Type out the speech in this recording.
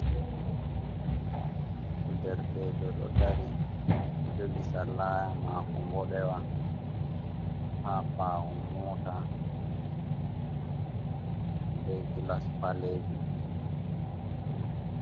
Derkejo ɗo dari jogi sallaya mako ɓoɗewa. ha ɓawo mota be glass ɓalejum.